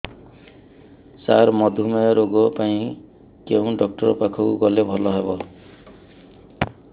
ସାର ମଧୁମେହ ରୋଗ ପାଇଁ କେଉଁ ଡକ୍ଟର ପାଖକୁ ଗଲେ ଭଲ ହେବ